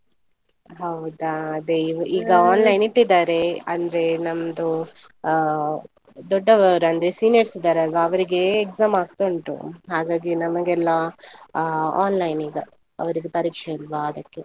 ಹೌದಾ ಅದೇ ಈ~ ಇಟ್ಟಿದ್ದಾರೆ, ಅಂದ್ರೆ ನಮ್ದು ಆ ದೊಡ್ಡವರು ಅಂದ್ರೆ seniors ಇದ್ದಾರಲ್ವ ಅವರಿಗೆ exam ಆಗ್ತಾ ಉಂಟು, ಹಾಗಾಗಿ ನಮಗೆಲ್ಲ ಆ online ಈಗ, ಅವರಿಗೆ ಪರೀಕ್ಷೆ ಅಲ್ವಾ ಅದಕ್ಕೆ.